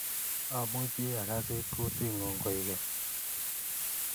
Amuchi akasit kutingung koikeny